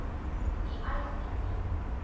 u eis indien